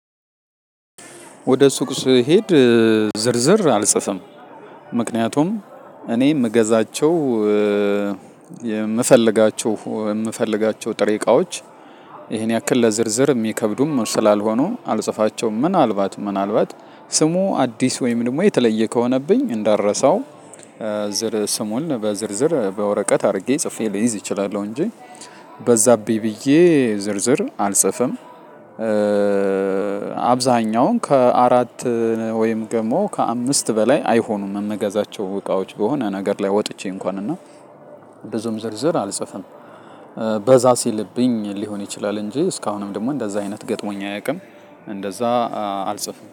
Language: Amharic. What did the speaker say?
ወደ ሱቅ ስሄድ ዝርዝር አልጽፍም ምክንያቱም እኔ የምገዛቸው የምፈልጋቸው የምፈልጋቸው ጥሬ እቃዎች ይሄን ያክል ለዝርዝር የሚከብዱም ስላልሆኑ አልጽፋቸውም ምናልባት ምናልባት ስሙ አዲስ ወይም ደግሞ የተለየ ከሆነብኝ እንዳልረሳው ዝር ስሙን በዝርዝር በወረቀት አድርጌ ጽፌ ልይዝ እችላለሁ እንጂ በዛብኝ ብዬ ዝርዝር አልጽፍም። አብዛኛውን ከአራት ወይም ደግሞ ከአምስት በላይ አይሆኑም የምንገዛቸው እቃዎች በሆነ ነገር ላይ ወጥቼ እንኳን እና ብዙም ዝርዝር አልጽፍም በዛ ሲልብኝ ሊሆን ይችላል እንጂ እስካሁንም ደግሞ እንደዛ አይነት ገጥሞኝ አያውቅም። እንደዛ አልጽፍም